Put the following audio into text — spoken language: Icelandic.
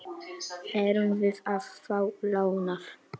Erum við að fá lánað?